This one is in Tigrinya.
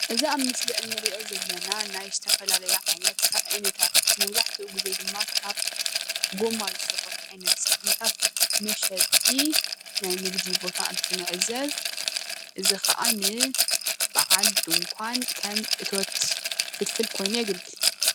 እዚ ኣብ ምስሊ እንሪኦ ዘለና ናይ ዝተፈላለዩ ዓይነት ሳእኒታት መብዛሕትኡ ጊዜ ድማ ካብ ጎማ ዝስርሑ ዓይነታት ሳእኒታት መሸጢ ናይ ንግዲ ቦታ እንትንዕዘብ እዚ ኸኣ ንባዓል ድንኳን ከም እቶት ፍልፍል ኮይኑ የገልግል፡፡